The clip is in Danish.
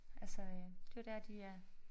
Altså øh det jo dér de er